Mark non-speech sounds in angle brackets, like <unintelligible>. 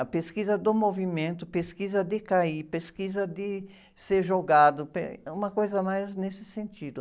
A pesquisa do movimento, pesquisa de cair, pesquisa de ser jogado, <unintelligible> uma coisa mais nesse sentido.